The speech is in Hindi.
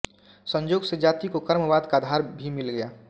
संयोग से जाति को कर्मवाद का आधार भी मिल गया